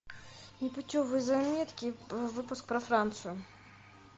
непутевые заметки выпуск про францию